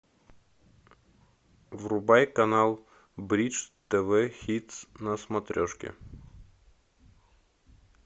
врубай канал бридж тв хитс на смотрешке